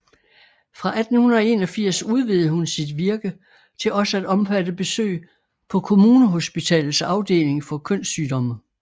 Fra 1881 udvidede hun sit virke til også at omfatte besøg på Kommunehospitalets afdeling for kønssygdomme